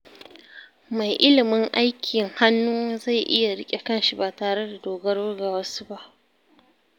Mai ilimin aikin hannu zai iya riƙe kanshi ba tare da dogaro da wasu ba.